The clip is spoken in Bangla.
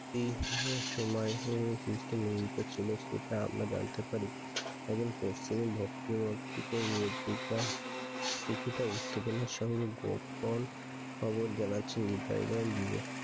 এটি তাই সে সময় নিয়মিত ছিল যে সেটা আমরা জানতে পারি। একজন পশ্চিমের ভক্ত কিছুটা উত্তেজনার সঙ্গে গোপন খবর জানার জন্য তাইবা